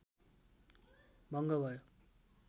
भङ्ग भयो